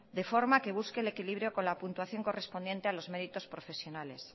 de forma que busque el equilibrio con la puntuación correspondiente a los méritos profesionales